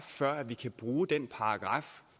før vi kan bruge den paragraf